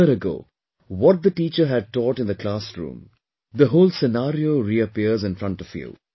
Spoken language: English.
A year ago, what the teacher had taught in the classroom, the whole scenario reappears in front of you